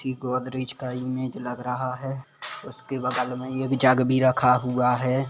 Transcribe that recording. ई गोदरेज का इमेज लग रहा है उसके बगल में एक जग भी रखा हुआ है।